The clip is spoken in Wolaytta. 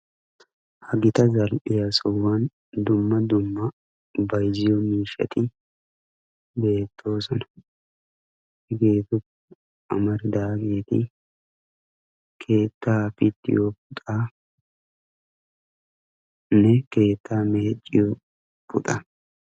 ha gita zal''iya sohuwan dumma dumma bayzziyo miishshati beettoosona, hageetuppe amaridaageeti keetta pittiyo puxxanne keetta meecciyo puxxaa.